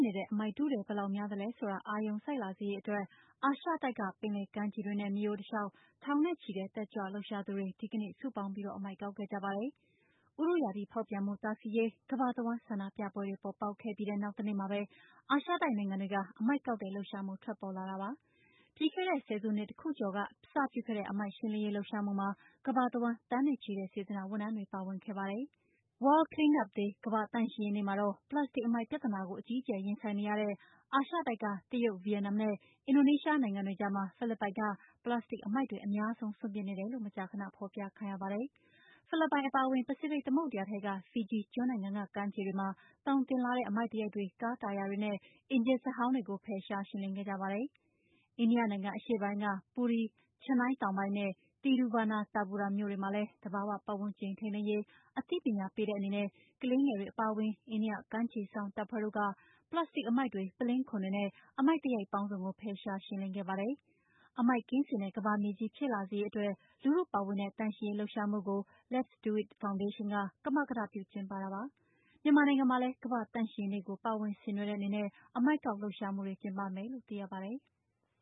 နေတဲ့ အမှိုက်ထုထည် ဘယ်လောက်များသလဲဆိုတာ အာရုံစိုက်လာစေရေးအတွက် အာရှတိုက်က ပင်လယ်ကမ်းခြေတွေနဲ့ မြစ်ရိုးတလျှောက် ထောင်နဲ့ချီတဲ့ တက်ကြွလှုပ်ရှားသူတွေ ဒီကနေ့ စုပေါင်းပြီး အမှိုက်ကောက်ခဲ့ကြပါတယ်။ ဥတုရာသီဖောက်ပြန်မှု တားဆီးရေး ကမ္ဘာတဝှမ်း ဆန္ဒပြပွဲတွေ ပေါ်ပေါက်ခဲ့ပြီးတဲ့ နောက်တနေ့မှာပဲ အာရှတိုက်နိုင်ငံတွေမှာ အမှိုက်ကောက်တဲ့လှုပ်ရှားမှု ထွက်ပေါ်လာတာပါ။ ပြီးခဲ့တဲ့ ဆယ်စုတခုကျော်က အစပြုခဲ့တဲ့ အမှိုက်ရှင်းလင်းရေး လှုပ်ရှားမှုမှာ ကမ္ဘာတဝှမ်း သန်းနဲ့ချီတဲ့ စေတနာ့ဝန်ထမ်းတွေ ပါဝင်ခဲ့ကြပါတယ်။ World Cleanup Day ကမ္ဘာ့သန့်ရှင်းရေးနေ့မှာတော့ ပလတ်စတစ် အမှိုက်ပြဿနာကို အကြီးအကျယ် ရင်ဆိုင်နေရတဲ့ အာရှတိုက်က တရုတ်၊ ဗီယက်နမ်နဲ့ အင်ဒိုနီးရှားနိုင်ငံတွေကြားမှာ ဖိလစ်ပိုင်က ပလတ်စတစ်အမှိုက်တွေ အများဆုံး စွန့်ပစ်နေတယ်လို့ မကြာခဏ ဖော်ပြခံရပါတယ်။ ဖိလစ်ပိုင် အပါအဝင် ပစိဖိတ်သမုဒ္ဒရာထဲက ဖီဂျီကျွန်းနိုင်ငံ ကမ်းခြေတွေမှာ သောင်တင်လာတဲ့ အမှိုက်သရိုက်တွေ၊ ကားတာယာတွေနဲ့ အင်ဂျင်စက်ဟောင်းတွေကို ဖယ်ရှားရှင်းလင်းခဲ့ကြပါတယ်။ အိန္ဒိယနိုင်ငံအရှေ့ပိုင်းက Puri၊ Chennai တောင်ပိုင်းနဲ့ Thiruvananthapuram မြို့တွေမှာလည်း သဘာဝပတ်ဝန်းကျင်ထိန်းသိမ်းရေး အသိပညာပေးတဲ့အနေနဲ့ ကလေးငယ်တွေ အပါအဝင် အိန္ဒိယ ကမ်းခြေစောင့်တပ်ဖွဲ့တို့က ပလတ်စတစ်အမှိုက်တွေ၊ ပုလင်းခွံတွေနဲ့ အမှိုက်ပေါင်းစုံကို ဖယ်ရှားရှင်းလင်းခဲ့ပါတယ်။ အမှိုက်ကင်းစင်တဲ့ ကမ္ဘာမြေကြီး ဖြစ်လာစေရေးအတွက် လူထုပါဝင်တဲ့ သန့်ရှင်းရေးလှုပ်ရှားမှုကို Let's Do It Foundation က ကမကထပြု ကျင်းပတာပါ။ မြန်မာနိုင်ငံမှာလည်း ကမ္ဘာ့သန့်ရှင်းရေးနေ့ကို ပါဝင်ဆင်နွှဲတဲ့အနေနဲ့ အမှိုက်ကောက်လှုပ်ရှားမှုတွေ ကျင်းပမယ်လို့ သိရပါတယ်။